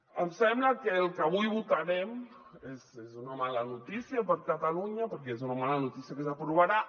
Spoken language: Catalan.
em sembla que el que avui votarem és una mala notícia per a catalunya perquè és una mala notícia que s’aprovarà